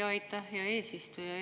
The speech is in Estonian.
Aitäh, hea eesistuja!